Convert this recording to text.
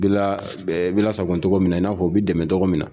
Bɛɛ bɛ la sago tɔgɔ min na i n'a fɔ o bɛ dɛmɛ tɔgɔ min na.